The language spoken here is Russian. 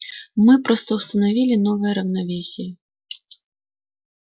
мы просто установили новое равновесие